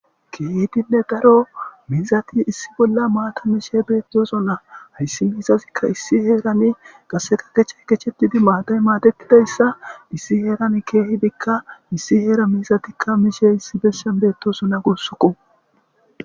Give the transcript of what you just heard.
Keehidinne daro miizati issi bolla maata mishe beettoso na hayssi miizazikka issi heerane qaseka gecha kechetidi maaday maatetidayssa issi heeran keehidikka issi heera miizatikka miishe issi bessen beettosona gussuko.